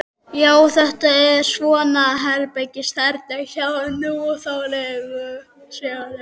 Já, þetta er svona herbergisþerna hjá núþálegu sögnunum.